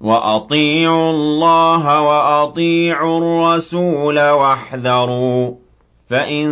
وَأَطِيعُوا اللَّهَ وَأَطِيعُوا الرَّسُولَ وَاحْذَرُوا ۚ فَإِن